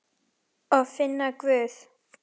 Og finna Guð.